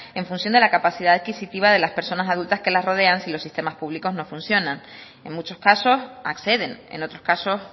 en función de la capacidad adquisitiva de las personas adultas que los rodean si los sistemas públicos no funcionan en muchos casos acceden en otros casos